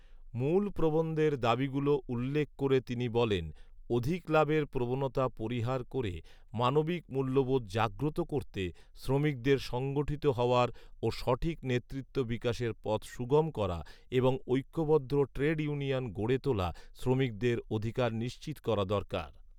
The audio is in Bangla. মূল প্রবন্ধের দাবিগুলো উল্লেখ করে তিনি বলেন, অধিক লাভের প্রবণতা পরিহার করে মানবিক মূল্যবোধ জাগ্রত করতে, শ্রমিকদের সংগঠিত হওয়ার ও সঠিক নেতৃত্ব বিকাশের পথ সুগম করা এবংঐক্যবদ্ধ ট্রেড ইউনিয়ন গড়ে তোলা শ্রমিকদের অধিকার নিশ্চিত করা দরকার